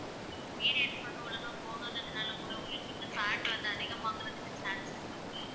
periods வந்து ஒழுங்கா போகாததுனால கூட உங்களுக்கு இந்த fat வந்து அதிகமாகுறதுக்கு chance இருக்கு.